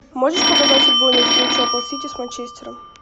можешь показать футбольную встречу апл сити с манчестером